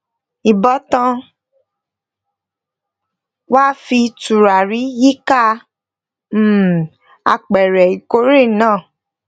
ìbátan wa fi turari yíká um apẹrẹ ikore náà